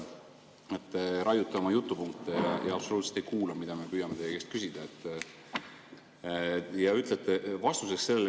Raiute oma jutupunkte ja absoluutselt ei kuula, mida me püüame teie käest küsida.